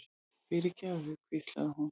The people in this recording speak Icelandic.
fyrirgefðu, hvíslaði hún.